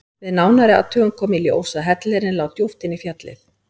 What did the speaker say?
Við nánari athugun kom í ljós að hellirinn lá djúpt inn í fjallið.